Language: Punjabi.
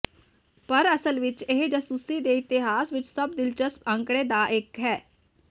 ਪਰ ਅਸਲ ਵਿਚ ਇਸ ਜਾਸੂਸੀ ਦੇ ਇਤਿਹਾਸ ਵਿਚ ਸਭ ਦਿਲਚਸਪ ਅੰਕੜੇ ਦਾ ਇੱਕ ਹੈ